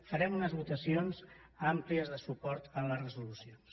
farem unes votacions àmplies de suport a les resolucions